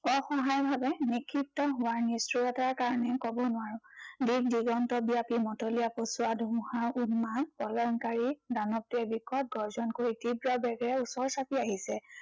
অসহায় ভাৱে বিক্ষিপ্ত হোৱা নিষ্ঠুৰতাৰ কাৰনে কব নোৱাৰো। দিক দিগন্ত ব্য়াপী মতলীয়া, পচোৱা ধুমুহাৰ উদ্মাদ প্ৰলয়ংকাৰী দানৱটোৱে বিকত গৰ্জন কৰি তীব্ৰ বেগেৰে ওচৰ চাপি আহিছে।